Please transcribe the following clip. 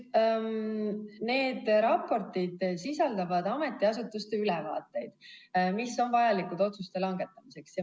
Need raportid sisaldavad ametiasutuste ülevaateid, mis on vajalikud otsuste langetamiseks.